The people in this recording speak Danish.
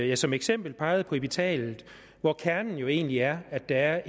jeg som eksempel pegede på epitalet hvor kernen egentlig er at der